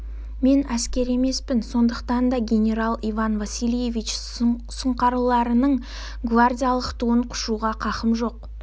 мен әскер емеспін сондықтан да генерал иван васильевич сұңқарларының гвардиялық туын құшуға хақым жоқ